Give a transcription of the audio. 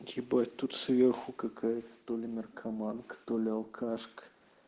ебать тут сверху какая-то то ли наркоманка то ли алкашка